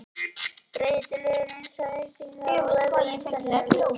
Breytilegur eins og eyktirnar og dægrin, veðrið og vindarnir, ljósið og myrkrið.